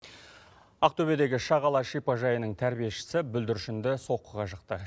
ақтөбедегі шағала шипажайының тәрбиешісі бүлдіршінді соққыға жықты